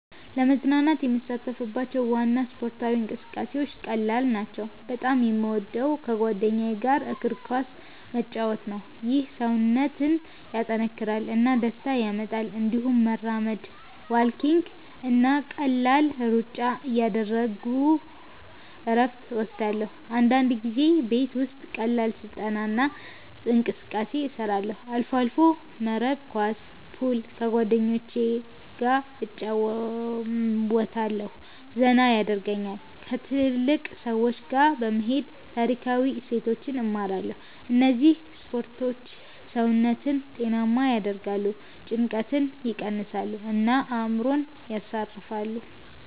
ለመዝናናት የምሳተፍባቸው ዋና ስፖርታዊ እንቅስቃሴዎች ቀላል ናቸው። በጣም የምወደው ከጓደኞች ጋር እግር ኳስ መጫወት ነው። ይህ ሰውነትን ያጠናክራል እና ደስታ ያመጣል። እንዲሁም መራመድ (walking) እና ቀላል ሩጫ እያደረግሁ እረፍት እወስዳለሁ። አንዳንድ ጊዜ ቤት ውስጥ ቀላል ስልጠና እና እንቅስቃሴ እሰራለሁ። አልፎ አልፎ መረብ ኳስ፣ ፑል ከጓደኞቸ ገ እጨረወታለሁ ዘና የደርጉኛል። ከትልልቅ ሰዎች ጋ በመሄድ ታሪካዊ እሴቶችን እማራለሁ እነዚህ ስፖርቶች ሰውነትን ጤናማ ያደርጋሉ፣ ጭንቀትን ይቀንሳሉ እና አእምሮን ያሳርፋሉ።